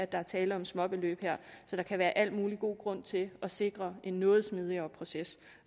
der er tale om småbeløb her så der kan være al mulig god grund til at sikre en noget smidigere proces